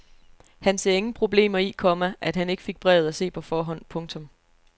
Han se ingen problemer i, komma at han ikke fik brevet at se på forhånd. punktum